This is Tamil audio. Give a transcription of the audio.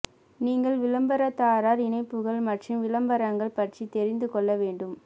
நீங்கள் விளம்பரதாரர் இணைப்புகள் மற்றும் விளம்பரங்கள் பற்றி தெரிந்து கொள்ள வேண்டும்